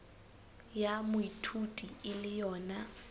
ya moithuti e le yona